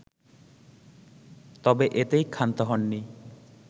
তবে এতেই ক্ষান্ত হননি